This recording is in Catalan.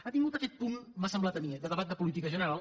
ha tingut aquest punt m’ho ha semblat a mi eh de debat de política general